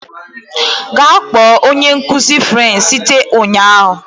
Gaa kpọọ onye nkuzi French site ụnyahụ